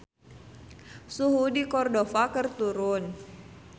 Suhu di Cordova keur turun